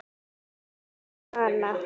Eins og hana.